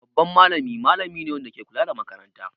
Babban malami malami ne wanda ke kula da makaranta.